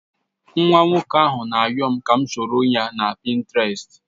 Nwata nwoko ahu na ayom ka m soroya na Pinterest